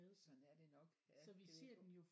Sådan er det nok ja det